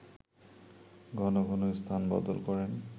ঘন ঘন স্থান বদল করেন